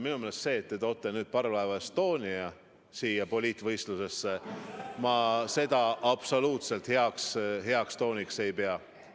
Minu meelest see, et te toote nüüd parvlaev Estonia siia poliitvõitlusesse – ma seda absoluutselt heaks tooniks ei pea.